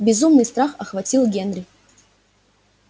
безумный страх охватил генри